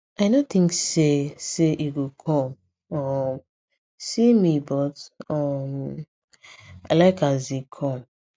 i no think say say e go come um see me but um i like as e come